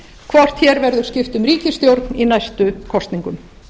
hvort hér verður skipt um ríkisstjórn í næstu kosningum